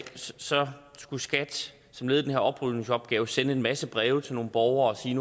skulle skat som led i den her oprydningsopgave sende en masse breve til nogle borgere og sige